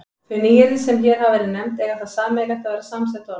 Þau nýyrði, sem hér hafa verið nefnd, eiga það sameiginlegt að vera samsett orð.